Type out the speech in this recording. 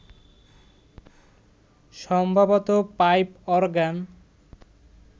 সম্ভবত pipe organ